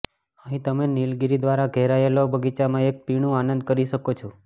અહીં તમે નીલગિરી દ્વારા ઘેરાયેલો બગીચામાં એક પીણું આનંદ કરી શકો છો